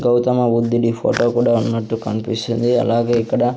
గౌతమ బుద్ధుడి ఫొటో కూడా ఉన్నట్టు కన్పిస్తుంది అలాగే ఇక్కడ--